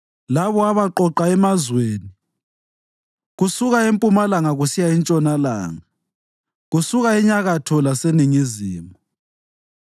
labo abaqoqa emazweni kusuka empumalanga kusiya entshonalanga, kusuka enyakatho laseningizimu.